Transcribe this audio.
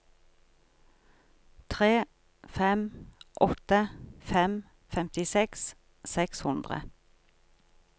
tre fem åtte fem femtiseks seks hundre